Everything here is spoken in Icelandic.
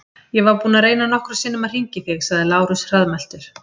Ég var búinn að reyna nokkrum sinnum að hringja í þig, sagði Lárus hraðmæltur.